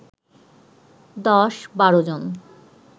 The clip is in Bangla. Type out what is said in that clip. ১০-১২ জন